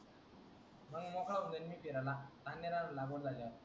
मग मोकळा होऊन जाईन मी फिरायला अन्न धान्य लागून झाल्यावर